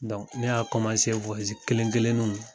Dɔnkuc ne y'a kɔmase k'o ɛze kelen kelen nu